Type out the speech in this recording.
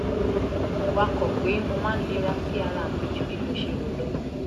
wakọ̀ pé mo máa ń lera sí ara mi ju bí mo ṣe rò lọ